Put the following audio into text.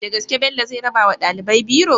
Dagaske bello zai rabawa ɗalibai biro?